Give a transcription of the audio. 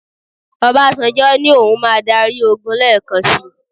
Obasanjo ní òun máa dárí ogun lẹ́ẹ̀kan sì.